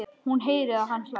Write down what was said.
Hún heyrir að hann hlær.